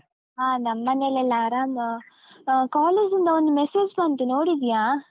ಹಾ ನಿಮ್ಮನೇಲೆಲ್ಲಾ ಆರಾಮಾ. ಆ college ಇಂದ ಒಂದು message ಬಂತು, ನೋಡಿದ್ಯಾ?